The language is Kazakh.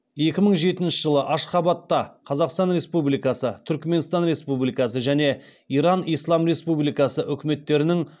екі мың жетінші жылы ашхабадта қазақстан республикасы түрікменстан республикасы және иран ислам республикасы үкіметтерінің